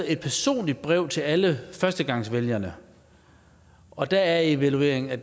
et personligt brev til alle førstegangsvælgerne og der er evalueringen at